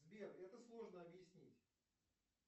сбер это сложно объяснить